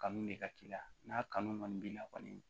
Kanu de ka k'i la n'a kanu kɔni b'i la kɔni